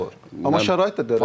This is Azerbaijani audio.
Amma şərait də dəyişib.